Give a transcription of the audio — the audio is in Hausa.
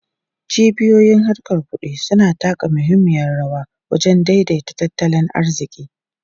Cibiyoyin harkar kudi suna taka muhimmiyar rawa wajen daidaita tattalin arziki.